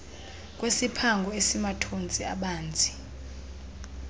kwesiphango esimathontsi abanzi